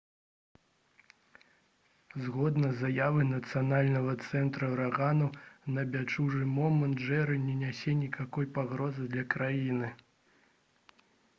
згодна з заявай нацыянальнага цэнтра ўраганаў на бягучы момант «джэры» не нясе ніякай пагрозы для краіны